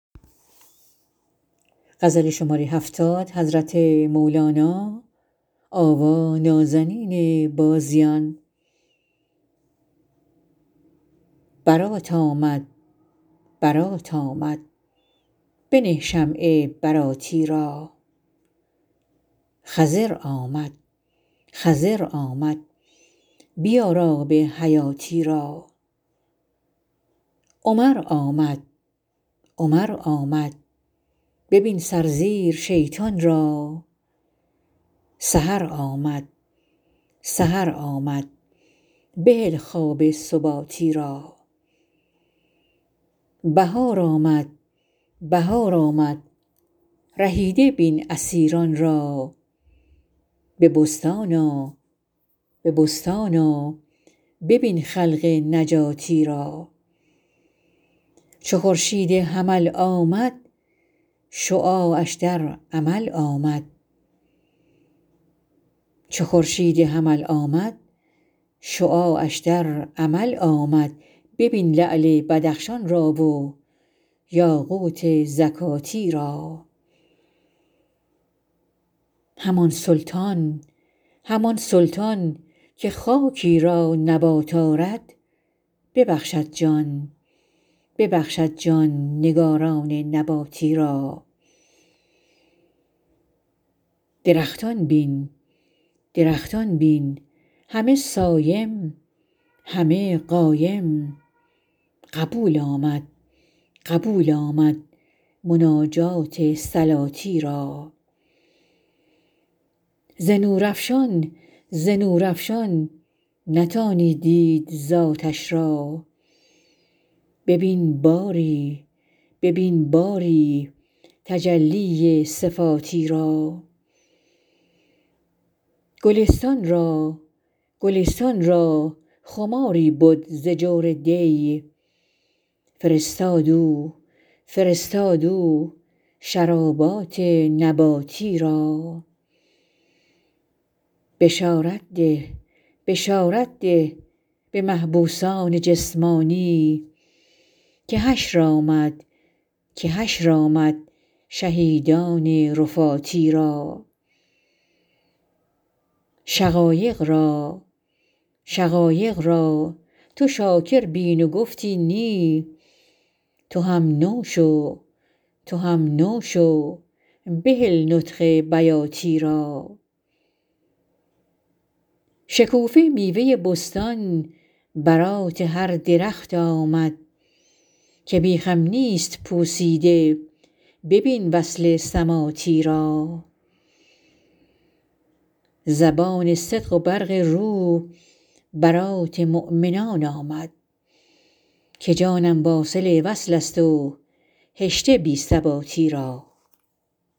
برات آمد برات آمد بنه شمع براتی را خضر آمد خضر آمد بیار آب حیاتی را عمر آمد عمر آمد ببین سرزیر شیطان را سحر آمد سحر آمد بهل خواب سباتی را بهار آمد بهار آمد رهیده بین اسیران را به بستان آ به بستان آ ببین خلق نجاتی را چو خورشید حمل آمد شعاعش در عمل آمد ببین لعل بدخشان را و یاقوت زکاتی را همان سلطان همان سلطان که خاکی را نبات آرد ببخشد جان ببخشد جان نگاران نباتی را درختان بین درختان بین همه صایم همه قایم قبول آمد قبول آمد مناجات صلاتی را ز نورافشان ز نورافشان نتانی دید ذاتش را ببین باری ببین باری تجلی صفاتی را گلستان را گلستان را خماری بد ز جور دی فرستاد او فرستاد او شرابات نباتی را بشارت ده بشارت ده به محبوسان جسمانی که حشر آمد که حشر آمد شهیدان رفاتی را شقایق را شقایق را تو شاکر بین و گفتی نی تو هم نو شو تو هم نو شو بهل نطق بیاتی را شکوفه و میوه بستان برات هر درخت آمد که بیخم نیست پوسیده ببین وصل سماتی را زبان صدق و برق رو برات مؤمنان آمد که جانم واصل وصلست و هشته بی ثباتی را